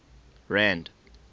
rand